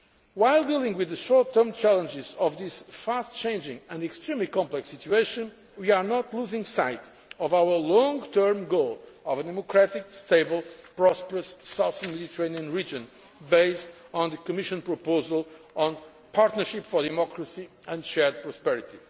While dealing with the short term challenges of this fast changing and extremely complex situation, we are not losing sight of our long term goal of a democratic stable prosperous Southern Mediterranean region based on the Commission proposal on Partnership for Democracy and Shared Prosperity.